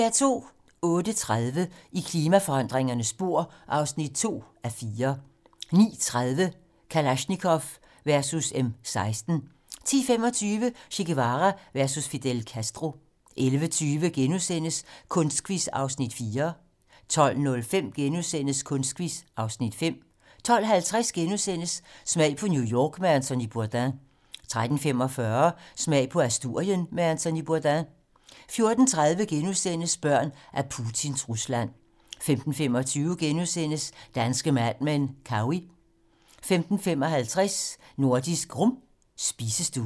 08:30: I klimaforandringernes spor (2:4) 09:30: Kalashnikov versus M16 10:25: Che Guevara versus Fidel Castro 11:20: Kunstquiz (Afs. 4)* 12:05: Kunstquiz (Afs. 5)* 12:50: Smag på New York med Anthony Bourdain * 13:45: Smag på Asturien med Anthony Bourdain 14:30: Børn af Putins Rusland * 15:25: Danske Mad Men: Cowey * 15:55: Nordisk Rum - spisestuen